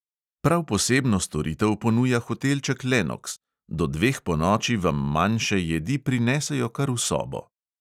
Prav posebno storitev ponuja hotelček lenoks: do dveh ponoči vam manjše jedi prinesejo kar v sobo.